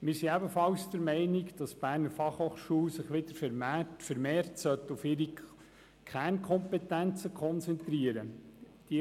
Wir sind ebenfalls der Meinung, dass sich die BFH wieder vermehrt auf ihre Kernkompetenzen konzentrieren sollte.